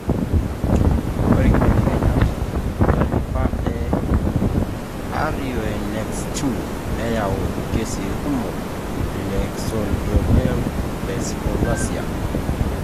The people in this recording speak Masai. ore inkibelekenyat tentalipa e RUNX2 nayau irkesii kumok lecleidocranial dysplasia.